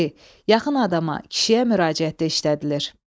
İki, yaxın adama, kişiyə müraciətdə işlədilir.